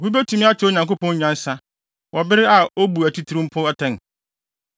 “Obi betumi akyerɛ Onyankopɔn nyansa, wɔ bere a obu atitiriw mpo atɛn?